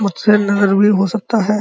मुझसे अलग भी हो सकता है।